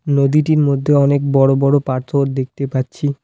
নদীটির মধ্যে অনেক বড়ো বড়ো পাথর দেখতে পাচ্ছি।